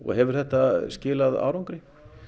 hefur þetta skilað árangri